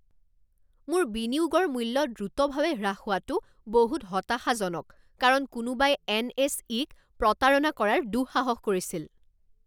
মোৰ বিনিয়োগৰ মূল্য দ্ৰুতভাৱে হ্ৰাস হোৱাটো বহুত হতাশাজনক কাৰণ কোনোবাই এনএছই ক প্ৰতাৰণা কৰাৰ দুঃসাহস কৰিছিল।